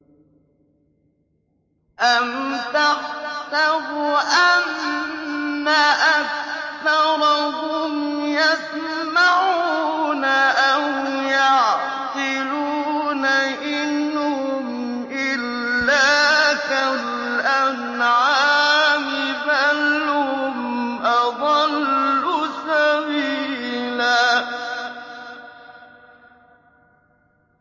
أَمْ تَحْسَبُ أَنَّ أَكْثَرَهُمْ يَسْمَعُونَ أَوْ يَعْقِلُونَ ۚ إِنْ هُمْ إِلَّا كَالْأَنْعَامِ ۖ بَلْ هُمْ أَضَلُّ سَبِيلًا